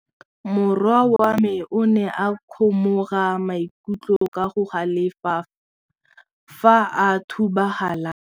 Morwa wa me o ne a kgomoga maikutlo ka go galefa fa a thuba galase.